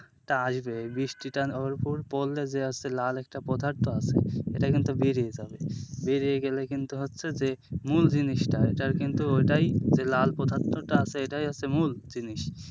এটা আসবে বৃষ্টিটা ওর ওপর পড়লে যে হচ্ছে লাল একটা পদার্থ আছে সেটা কিন্তু বেরিয়ে যাবে, বেরিয়ে গেলে কিন্তু হচ্ছে যে মূল জিনিসটা সেটা কিন্তু ওটাই যে লাল পদার্থটা আছে সেটাই হচ্ছে মূল জিনিস,